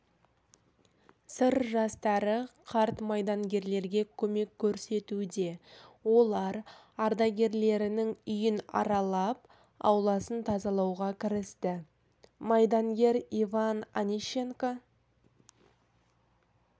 сыр жастары қарт майдангерлерге көмек көрсетуде олар ардагерлерінің үйін аралап ауласын тазалауға кірісті майдангер иван онищенко